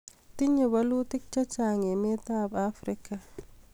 tinyei bolutik chechang emetab Afrika